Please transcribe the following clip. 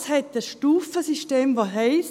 Dieses hat ein Stufensystem, welches heisst: